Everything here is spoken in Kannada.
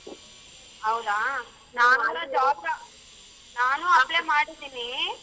ಹೌದಾ ನಾನು apply ಮಾಡಿದೀನಿ.